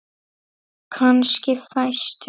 Kannski fæstum.